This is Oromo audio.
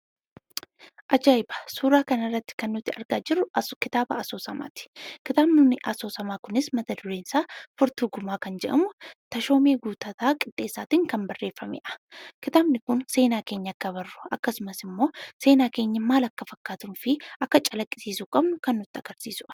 Ajaa'iba! Suuraa kana irratti kan nuti argaa jirru kitaaba asoosamaati. Kitaabni asoosamaa kunis mata-dureen isaa "Furtuu Gumaa" kan jedhamu, Tashoomaa Guuttataa Qixxeessaatin kan barreeffamedha. Kitaabni kun seenaa keenya akka barru akkasumas ammoo seenaan keenya maal akka fakkaatuufi akka calaqqisiisuu qabnu kan nutti agarsiisudha.